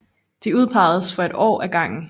De udpegedes for et år ad gangen